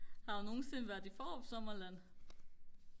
har du nogensinde været i Fårup Sommerland